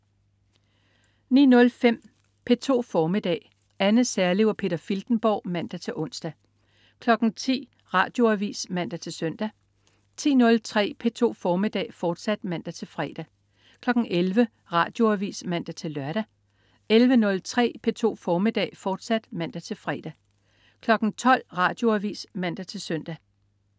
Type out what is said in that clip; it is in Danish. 09.05 P2 formiddag. Anne Serlev og Peter Filtenborg (man-ons) 10.00 Radioavis (man-søn) 10.03 P2 formiddag, fortsat (man-fre) 11.00 Radioavis (man-lør) 11.03 P2 formiddag, fortsat (man-fre) 12.00 Radioavis (man-søn)